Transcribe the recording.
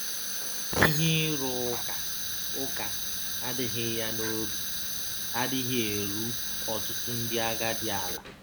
Ihe ịrụ ụka ụka adịghị ya na obi adịghị eru ọtụtụ ndị agadi ala